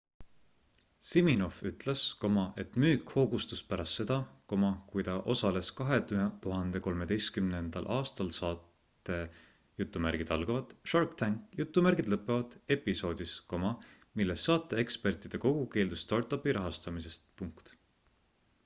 siminoff ütles et müük hoogustus pärast seda kui ta osales 2013 aastal saate shark tank episoodis milles saate ekspertide kogu keeldus startupi rahastamisest